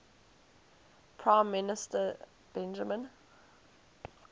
prime minister benjamin